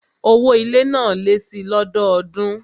Owó ilé náà lé síi lọ́dọọdún